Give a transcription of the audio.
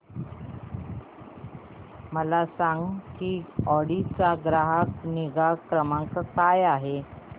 मला सांग की ऑडी चा ग्राहक निगा क्रमांक काय आहे